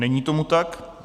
Není tomu tak.